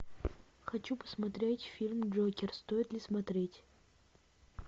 хочу посмотреть фильм джокер стоит ли смотреть